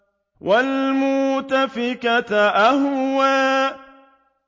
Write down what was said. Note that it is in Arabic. وَالْمُؤْتَفِكَةَ أَهْوَىٰ